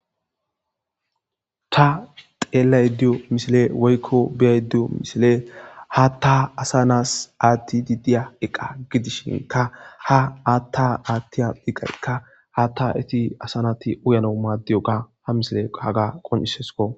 Ta xeellaydda diyo missile woykko be7aydda diyo misiley,haatta asa na7aas aattiidi diya iqa gidishin, ha haata attiya iqaykka haatta eti asa nati uyanaw maadiyoga ha misiley qaaga qoncciseskko.